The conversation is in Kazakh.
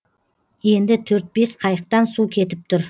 енді төрт бес қайықтан су кетіп тұр